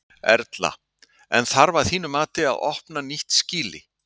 Erla: En þarf að þínu mati að opna nýtt skýli?